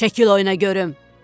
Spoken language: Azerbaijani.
Çəkil oyuna görüm.